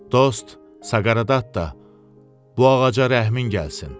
Dost Saqareddatta, bu ağaca rəhmin gəlsin.